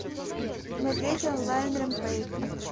смотреть онлайн рэмпейдж